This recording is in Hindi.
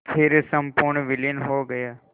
फिर संपूर्ण विलीन हो गया